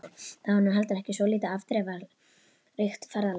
Það var nú heldur ekki svo lítið afdrifaríkt ferðalag.